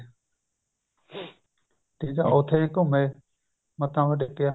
ਠੀਕ ਆ ਉੱਥੇ ਵੀ ਘੁੰਮੇ ਮੱਥਾ ਮੁੱਥਾ ਟੇਕਿਆ